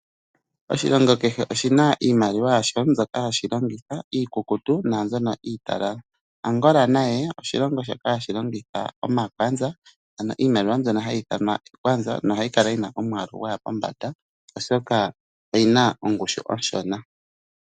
Oshilongo kehe oshina iimaliwa yasho, mbyoka hashi longitha iikukutu na mbyono italala, Angola naye oshilongo shoka hashi longitha omakwanza aano iimaliwa mbyono hayi ithanwa ekwanza no hayi kala yina omwalu gwaya pombanda oshoka oyina ongushu onshona.